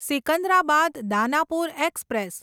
Secunderabad Danapur express